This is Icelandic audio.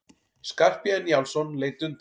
Skarphéðinn Njálsson leit undan.